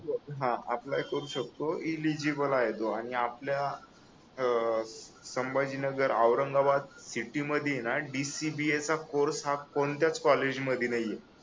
हा अप्लाय करू शकतो एलिजिबल आहे तो आणि आपल्या संभाजीनगर औरंगाबाद सिटी मध्ये ना DCBA चा कोर्स हा कोणत्याच कॉलेजमध्ये नाहीये